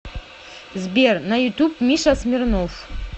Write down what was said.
сбер на ютуб миша смирнов